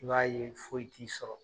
I b'a ye foyi t'i sɔrɔ.